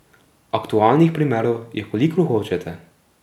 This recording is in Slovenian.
Aktualnih primerov je kolikor hočete.